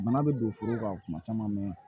Bana bɛ don foro la kuma caman mɛ